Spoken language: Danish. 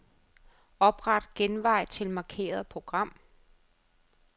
Opret genvej til markerede program.